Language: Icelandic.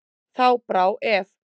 Þá brá ef.